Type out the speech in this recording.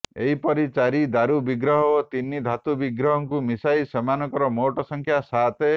ଏହିପରି ଚାରି ଦାରୁ ବିଗ୍ରହ ଓ ତିନି ଧାତୁ ବିଗ୍ରହଙ୍କୁ ମିଶାଇଲେ ସେମାନଙ୍କ ମୋଟ ସଂଖ୍ୟା ସାତ